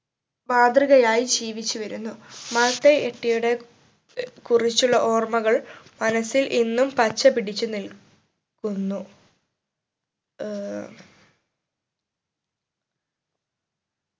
മാതൃകയായി ജീവിച്ചു വരുന്നു മാതയ് എട്ടിയുടെ ഏർ കുറിച്ചുള്ള ഓർമ്മകൾ മനസ്സിൽ ഇന്നും പച്ച പിടിച്ചു നിൽ ക്കുന്നു ഏർ